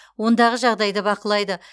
ондағы жағдайды бақылайды